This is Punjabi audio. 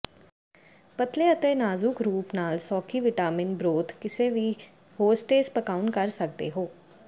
ਪਤਲੇ ਅਤੇ ਨਾਜ਼ੁਕ ਰੂਪ ਨਾਲ ਸੌਖੀ ਵਿਟਾਮਿਨ ਬਰੋਥ ਕਿਸੇ ਵੀ ਹੋਸਟੇਸ ਪਕਾਉਣ ਕਰ ਸਕਦੇ ਹੋ